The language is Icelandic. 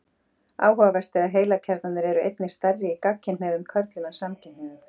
áhugavert er að heilakjarnarnir eru einnig stærri í gagnkynhneigðum körlum en samkynhneigðum